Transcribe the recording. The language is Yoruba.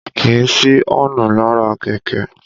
Kìí sí ọ́ǹnù lára kẹ̀kẹ́